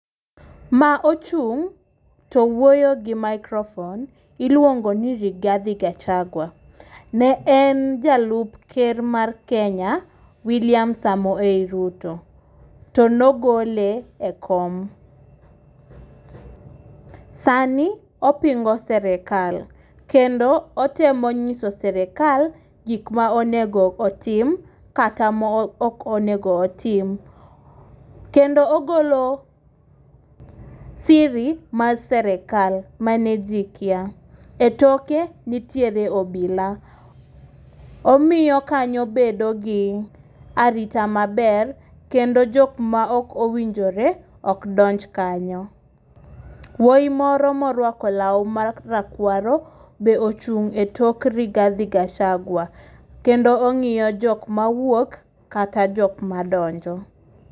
Ma ochung' to wuoyo gi microphone iluongo ni Rigathi Gachagua. Ne en jalup ker mar Kenya William Samoei Ruto to ne ogole e kom. Sani opingo sirikal kendo otemo nyiso sirikal gik ma onego otim, kata ma ok onego otim. Kendo ogolo siri mar sirikal mane ji kia. Etoke nitiere obila, omiyo kanyo bedo gi arita maber kendo jok ma ok owinjore ok donj kanyo. Wuoyi moro moruako law marakuaro be ochung' etok Rigathi Gachagua, kendo ong'iyo jok mawuok kata jok madonjo.